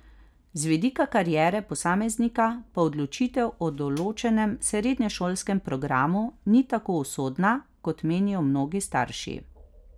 Z vidika kariere posameznika pa odločitev o določenem srednješolskem programu ni tako usodna, kot menijo mnogi starši.